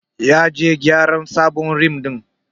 Ya je gyara sabon rim din.